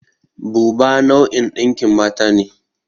Buba nau'in ɗinkin mata ne.